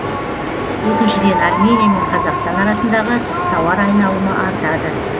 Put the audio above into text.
екіншіден армения мен қазақстан арасындағы тауар айналымы артады